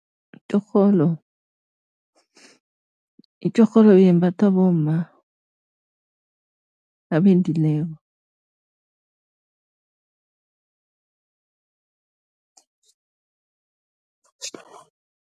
Itjorholo itjorholo yembathwa bomma abendileko